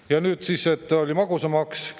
Ja nüüd siis tuli magusamaks.